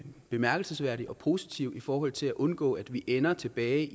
bemærkelsesværdig og positiv i forhold til at undgå at vi ender tilbage